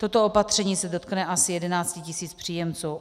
Toto opatření se dotkne asi 11 tisíc příjemců.